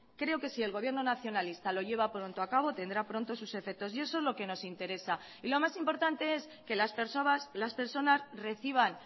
creo que si el gobierno nacionalista lo lleva pronto a cabo tendrá pronto sus efectos y eso es lo que nos interesa y lo más importante es que las personas reciban